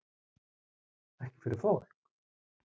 Ekki fyrir fólk?